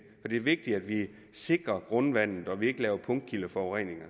er det vigtigt at vi sikrer grundvandet og at vi ikke laver punktkildeforureninger